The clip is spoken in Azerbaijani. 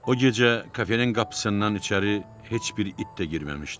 O gecə kafenin qapısından içəri heç bir it də girməmişdi.